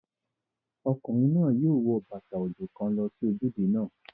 Ọkùnrin náà yóò wo bàtà òjò kan lọ sí ojúde náà